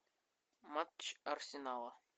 матч арсенала